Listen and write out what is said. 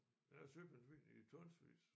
Der er søpindsvin i tonsvis